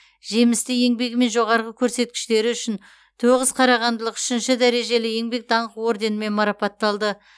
жемісті еңбегі мен жоғары көрсеткіштері үшін тоғыз қарағандылық үшінші дәрежелі еңбек даңқы орденімен марапатталды